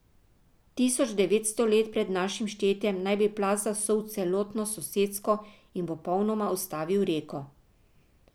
Tisoč devetsto let pred našim štetjem naj bi plaz zasul celotno sosesko in popolnoma ustavil reko.